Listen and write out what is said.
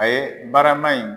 A ye barama in